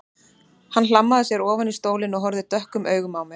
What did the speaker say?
Hann hlammaði sér ofan í stólinn og horfði dökkum augum á mig.